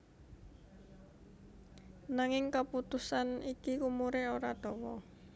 Nanging kaputusan iki umuré ora dawa